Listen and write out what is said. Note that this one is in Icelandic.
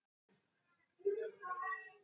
Þetta er vandi ritmáls.